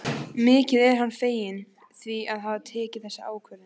Mikið er hann feginn því að hafa tekið þessa ákvörðun.